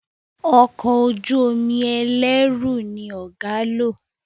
Ọkọ̀ ojú-omi ẹlẹru ní ọgá ló.